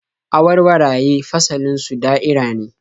Awarwaraye fasalin su da'ira ne